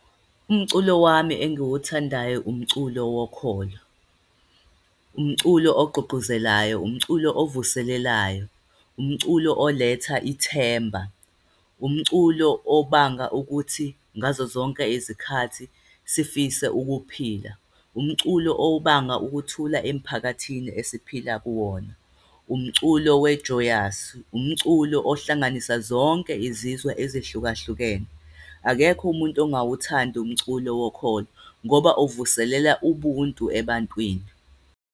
Umculo wami engiwuthandayo, umculo wokholo. Umculo ogqugquzelayo, umculo ovuselelayo, umculo oletha ithemba, umculo obanga ukuthi ngazo zonke izikhathi sifise ukuphila. Umculo obanga ukuthula emphakathini esiphila kuwona. Umculo we-Joyous, umculo ohlanganisa zonke izizwe ezihlukahlukene. Akekho umuntu engawuthandi umculo wokhokho, ngoba avuselela ubuntu ebantwini.